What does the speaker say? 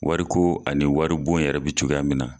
Wari ko ani wari bon yɛrɛ bɛ cogoya min na.